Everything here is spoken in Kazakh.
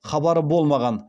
хабары болмаған